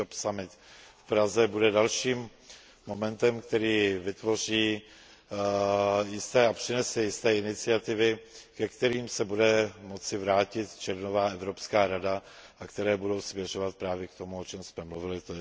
job summit v Praze, bude dalším momentem, který vytvoří a přinese jisté iniciativy, ke kterým se bude moci vrátit červnová Evropská rada a které budou směřovat právě k tomu, o čem jsme mluvili, tj.